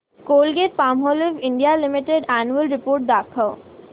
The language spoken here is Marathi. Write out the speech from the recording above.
Colgate Palmolive India limited annual report दाखव